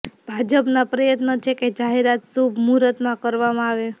ભાજપના પ્રયત્ન છે કે જાહેરાત શુભ મુહૂર્તમાં કરવામાં આવે